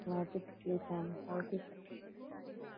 ਮੈਂ ਵੀ ਠੀਕ ਹਾਂ ਹੋਰ ਕੁਝ?